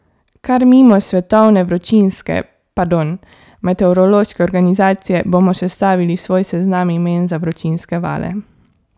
Kar mimo svetovne vročinske, pardon, meteorološke organizacije bomo sestavili svoj seznam imen za vročinske vale.